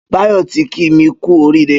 Bayo ti kí mi kù óriré